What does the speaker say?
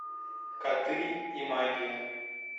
коты и магия